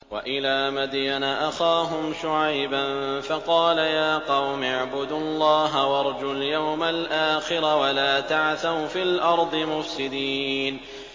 وَإِلَىٰ مَدْيَنَ أَخَاهُمْ شُعَيْبًا فَقَالَ يَا قَوْمِ اعْبُدُوا اللَّهَ وَارْجُوا الْيَوْمَ الْآخِرَ وَلَا تَعْثَوْا فِي الْأَرْضِ مُفْسِدِينَ